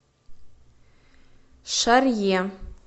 шарье